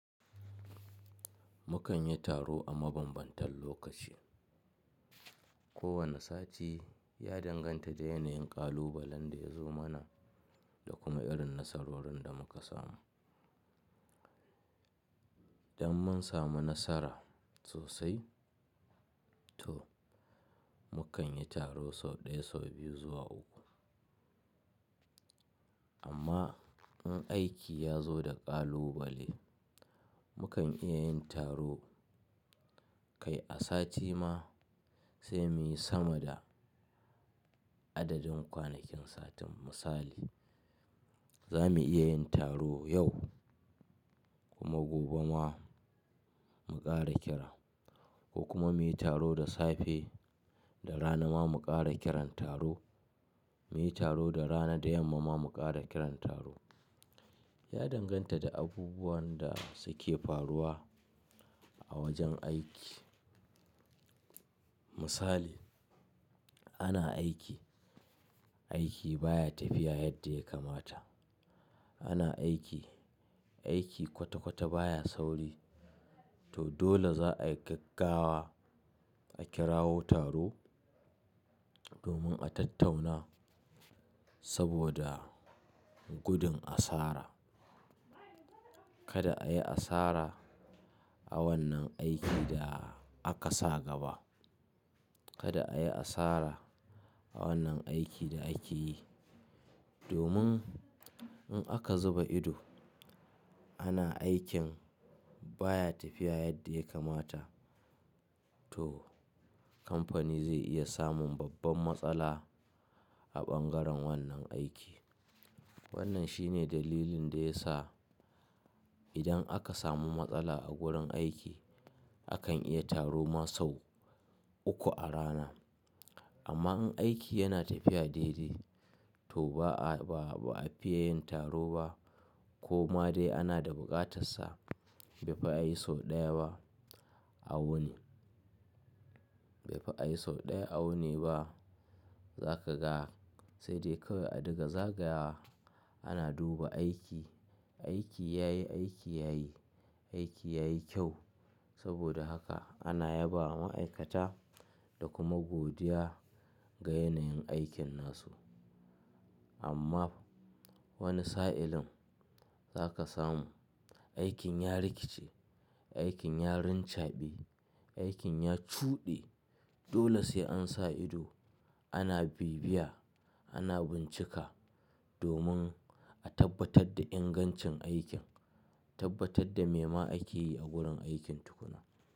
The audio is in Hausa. Mukan yi taro a mabanbantan lokaci. Ko wane sati ya danganta da yanayin ƙalubalen da ya zo mana da kuma irin nasarorin da muka samu. Dan mun samu nasara sosai to mukan yi taro sau ɗaya, sau biyu zuwa uku. Amma in aiki ya zo da ƙalubale, mukan iya yin taro kai a sati ma sai muyi sama da adadin kwanakin satin. Misali, za mu iya yin taro yau kuma gobe ma mu ƙara kira ko kuma muyi taro da safe da rana ma mu ƙara kiran taro, muyi taro da rana da yamma ma mu ƙara kiran taro. Ya danganta da abubuwan da suke faruwa a wajen aiki. Misali, ana aiki, aiki baya tafiya yadda ya kamata. Ana aiki, aiki kwata-kwata baya sauri to dole za a gaggawa a kirawo taro domin a tattauna saboda gudun asara. Kada a yi asara a wannan aikin da aka sa gaba. Kada a yi asara a wannan aikin da ake yi domin in aka zuba ido ana aikin baya tafiya yadda ya kamata to kamfani zai iya samun babban matsala a bangaren wannan aiki. Wannan shine dalilin da ya sa idan aka samu matsala a gurin aiki, akan iya taro ma sau uku a rana. Amma in aiki yana tafiya daidai to ba a fiye yin taro ba ko ma dai ana da buƙatar sa bai fi yi sau ɗaya a wani ba. Za ka ga sai dai kawai a riga zagaya ana duba aiki. Aiki yayi, aiki yayi, aiki yayi kyau saboda haka ana yabawa ma'aikata da kuma godiya ga yanayin aikinsu. Amma wani sa'ilin za ka samu aikin ya rikice, aikin ya rincaɓe, aikin ya cuɗe. Dole sai an sa ido, ana bibiya, ana bincika domin a tabbatar da ingancin aikin, tabbatar da me ma ake yi a gurin aikin tukuna.